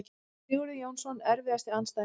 Sigurður Jónsson Erfiðasti andstæðingur?